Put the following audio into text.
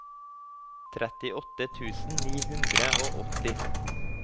trettiåtte tusen ni hundre og åtti